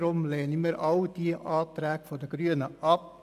Deswegen lehnen wir alle Anträge der Grünen ab.